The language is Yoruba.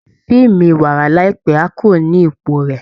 Fíìmù iwara láìpẹ́ á kúrò ní ipò rẹ̀